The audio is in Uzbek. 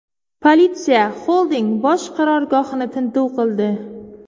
Politsiya xolding bosh qarorgohini tintuv qildi.